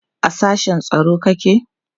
a sashen tsaro kake?